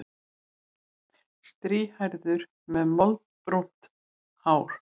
Strýhærður með moldbrúnt hár.